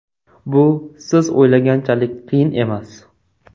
Bu siz o‘ylaganchalik qiyin emas.